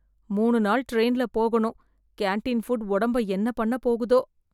மூணு நாள் டிரெயின்ல போகணும், கேண்டீன் புட் உடம்பை என்ன பண்ண போகுதோ?